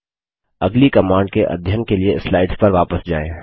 अगली कमांड के अध्ययन के लिए स्लाइड्स पर वापस जाएँ